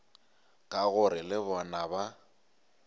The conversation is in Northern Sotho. ka gore le bona ba